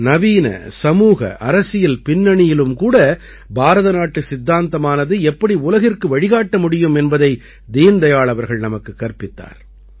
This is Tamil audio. நவீன சமூக அரசியல் பின்னணியிலும் கூட பாரத நாட்டு சித்தாந்தமானது எப்படி உலகிற்கு வழிகாட்ட முடியும் என்பதை தீன்தயாள் அவர்கள் நமக்குக் கற்பித்தார்